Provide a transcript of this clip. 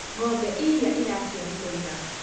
Ng'ombe ĩrĩa ĩraciarire ira.